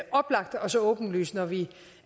oplagt og så åbenlys når vi